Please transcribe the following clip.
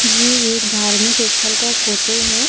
ये एक धार्मिक ऐस्थल का फोटो है।